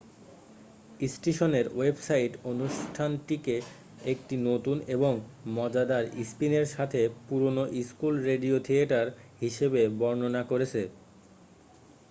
"স্টেশনের ওয়েবসাইট অনুষ্ঠানটিকে "একটি নতুন এবং মজাদার স্পিনের সাথে পুরানো স্কুল রেডিও থিয়েটার" হিসাবে বর্ণনা করেছে!